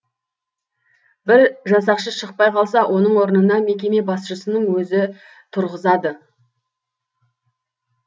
бір жасақшы шықпай қалса оның орнына мекеме басшысының өзін тұрғызады